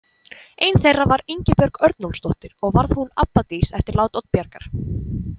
Ein þeirra var Ingibjörg Örnólfsdóttir og varð hún abbadís eftir lát Oddbjargar.